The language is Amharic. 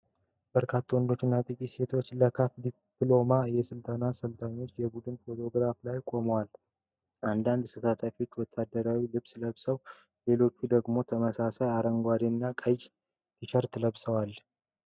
በርካታ ወንዶች እና ጥቂት ሴቶች ለ CAF ዲፕሎማ የአሰልጣኝነት ስልጠና የቡድን ፎቶግራፍ ላይ ቆመዋል። አንዳንድ ተሳታፊዎች ወታደራዊ ልብስ ለብሰዋል፣ ሌሎች ደግሞ ተመሳሳይ አረንጓዴ እና ቀይ ቲሸርት ለብሰዋል።